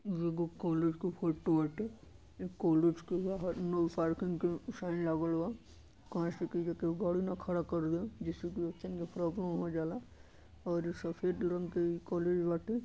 ई एगो कॉलेज क फोटो बाटे। ई कॉलेज के बाहर नो पार्किंग के साइन लागल बा। काहे से कि ऐजा केहू गाड़ी ना खड़ा कई दे जेसे कि बच्चन के प्रॉब्लम हो जाला औरी सफेद रंग के ई कॉलेज बाटे।